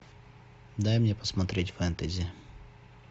дай мне посмотреть фэнтези